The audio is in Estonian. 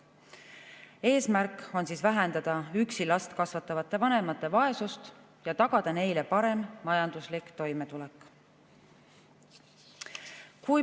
Eesmärk on vähendada üksi last kasvatavate vanemate vaesust ja tagada neile parem majanduslik toimetulek.